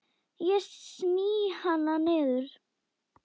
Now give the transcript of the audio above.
Ég sný hana niður.